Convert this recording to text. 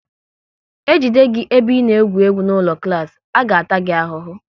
E jide gị ebe ị na-egwu egwu n'ụlọ klas, a ga ta gị ahụhụ!